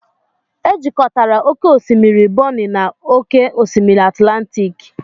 Ejikọtara oke osimiri Bonny na oke osimiri Atlantic.